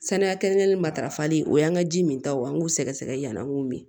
Saniya kelen kelenni matarafali o y'an ka ji min taw ye o an k'u sɛgɛsɛgɛ yann'an k'u min